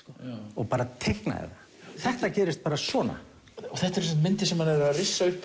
og bara teiknaði það þetta gerist bara svona þetta eru sem myndir sem hann er að rissa upp